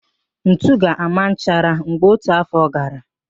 Ntu ga-ama nchara mgbe ọtutu afọ gara